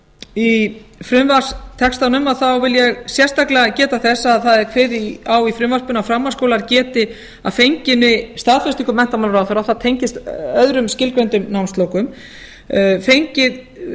í frumvarpstextanum þá vil ég sérstaklega geta þess að það er kveðið á um í frumvarpinu að framhaldsskólar geti að fenginni staðfestingu menntamálaráðherra og það tengist öðrum skilgreindum námsflokkum fengið